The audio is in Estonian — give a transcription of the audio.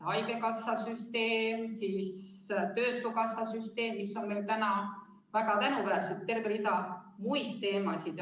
Haigekassa süsteem, töötukassa süsteem, mis on meil väga tänuväärsed, ja terve rida muid teemasid.